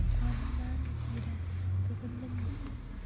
туғанымнан бері бүгін міне